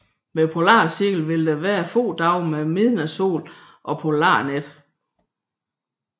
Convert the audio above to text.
Ved polarcirklen vil der være få dage med midnatssol og polarnat